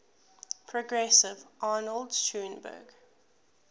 progressive arnold schoenberg